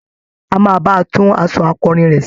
A máa ba tún aṣọ akọrin rẹ̀ ṣe.